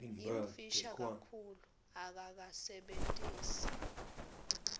yimfisha kakhulu akakasebentisi